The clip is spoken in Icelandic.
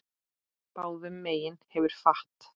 Báðum megin hefur fat.